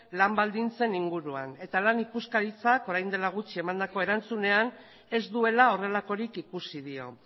lan baldintzen inguruan eta lan ikuskaritzak orain dela gutxi emandako erantzunean ez duela horrelakorik ikusi dio